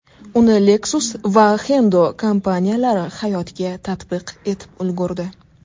Uni Lexus va Hendo kompaniyalari hayotga tatbiq etib ulgurdi.